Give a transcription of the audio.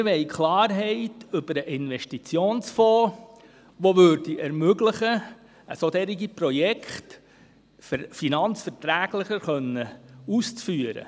Wir wollen Klarheit über den Investitionsfonds, sodass es möglich wird, solche Projekte finanzverträglicher auszuführen.